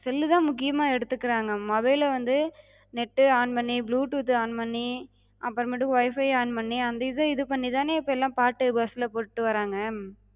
cell லுதா முக்கியமா எடுத்துக்குறாங்க. mobile ல வந்து net டு on பண்ணி, bluetooth த்து on பண்ணி அப்பரமேட்டுக்கு Wi-Fi on பண்ணி அந்த இத இது பண்ணிதான இப்ப எல்லா பாட்டு bus லப்போட்டுட்டு வராங்க.